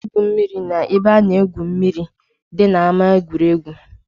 Ana m egwu mmiri na-ebe a na-egwu mmiri dị na ama egwuregwu.